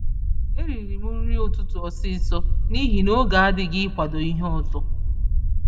E ririm nri ụtụtụ ọsịsọ n'ihi n'oge adịghị ikwado ìhè ọzọ